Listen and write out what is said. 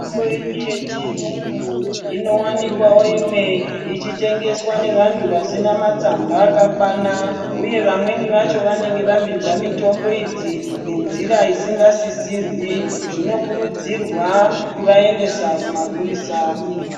Mitombo yedu yechiyungu inowanikwawo imwe ichitengeswa nevantu vasina matsamba akakwana uye vamweni vacho vanenge vapinza mitombo idzi nenzira isingadisirwi zvinokurudzirwa kuvaendesa kuma purisa.